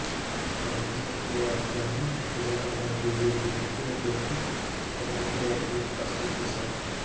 అవన్నీ తప్పుడు వార్తలు అని నిజామాబాద్ బీజేపీ ఎంపీ అభ్యర్థి ధర్మపురి అరవింద్ స్పష్టం చేశారు